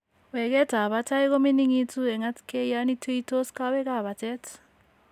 Weketab batay ko mining'itu en atkay yon tuuytos kowekap batet.